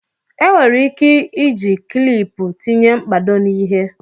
enwere ike iji kịlịpù tinye mkpado na ihe